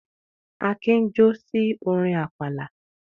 Akin jó sí orin àpàlà.